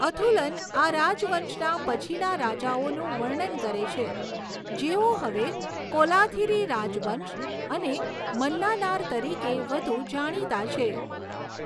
અથુલન આ રાજવંશના પછીના રાજાઓનું વર્ણન કરે છે જેઓ હવે કોલાથિરી રાજવંશ અને મન્નાનાર તરીકે વધુ જાણીતા છે.